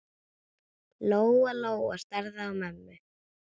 Lóa-Lóa starði á mömmu.